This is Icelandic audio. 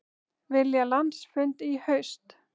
Vilja landsfund í haust